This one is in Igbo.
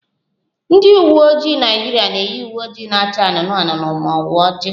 Ndị uwe ojii Naịjirịa na-eyi uwe ojii na-acha anụnụ anụnụ ma ọ bụ oji